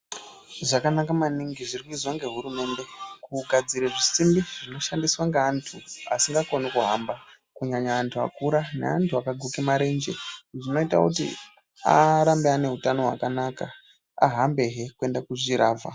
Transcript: Zvakanaka maningi zviri kuizwa nehurumende kugadzire zvisimbi zvinoshandiswe ngeanthu asingakoni kuhamba kunyanya anthu akura neanthu akaguka marenje zvinoita kuti arambe ane utano hwakanaka ahambehe kuende kuchiravha.